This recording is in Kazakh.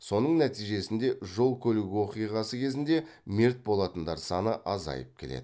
соның нәтижесінде жол көлік оқиғасы кезінде мерт болатындар саны азайып келеді